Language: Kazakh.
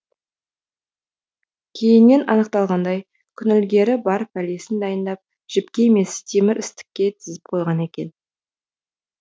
кейіннен анықталғандай күнілгері бар пәлесін дайындап жіпке емес темір істікке тізіп қойған екен